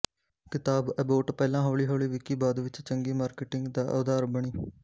ਕਿਤਾਬ ਐਬੋਟ ਪਹਿਲਾਂ ਹੌਲੀ ਹੌਲੀ ਵਿਕੀ ਬਾਅਦ ਵਿਚ ਚੰਗੀ ਮਾਰਕੀਟਿੰਗ ਦਾ ਅਧਾਰ ਬਣੀ